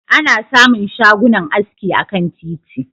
Ana samun shagunan aski akan titi.